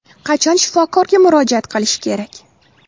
Qachon shifokorga murojaat qilish kerak?